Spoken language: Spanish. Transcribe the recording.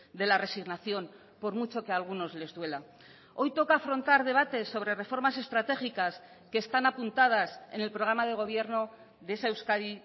de la resignación por mucho que a algunos les duela hoy toca afrontar debates sobre reformas estratégicas que están apuntadas en el programa de gobierno de esa euskadi